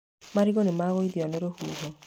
Marigũ nĩ magũithio nĩ rũhuho.